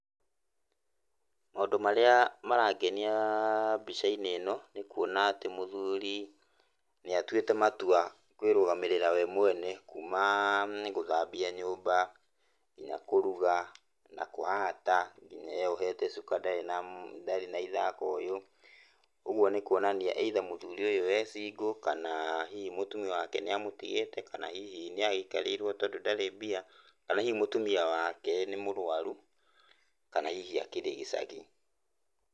Maũndũ marĩa marangeniaaa mbicainĩ ĩno nĩkuona atĩ mũthuri nĩatuĩtĩ matua kwĩrũgamĩrĩra we mwene kumaa nigũthambia nyũmba , nginya kũruga, nginya kũhata nginya ũyũ wĩyohete cuka ndarĩ na ithako uyu kwoguo nikuonania either nĩ single kana hihi mũtumia wake nĩamũtigĩte, kana hihi nĩagĩkarĩirwo tondũ ndarĩ mbia, kana hihi mũtumia wake nĩ mũrũaru kana hihi akĩrĩ gĩcagi.